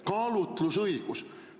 Kaalutlusõigus!